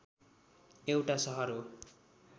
एउटा सहर हो